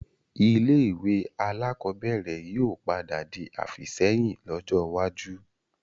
Ilé ẹ̀kọ́ alakọ̀bẹ́ẹ́rẹ̀ yìí ó padà di àfìsẹ́yìn lọ́jọ́ iwájú